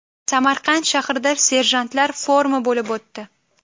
Samarqand shahrida serjantlar forumi bo‘lib o‘tdi.